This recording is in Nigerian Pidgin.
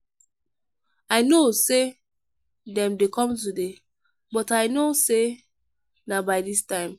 i know say dem dey come today but i no say na by dis time.